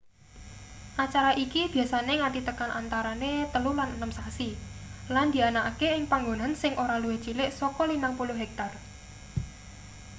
acara iki biasane nganti tekan antarane telu lan enem sasi lan dianakake ing panggonan sing ora luwih cilik saka 50 hektar